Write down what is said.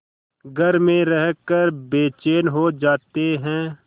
घर में रहकर बेचैन हो जाते हैं